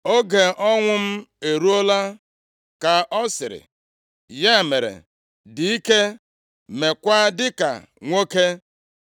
“Oge ọnwụ m eruola,” ka ọ sịrị, “Ya mere, dị ike, meekwa dịka nwoke.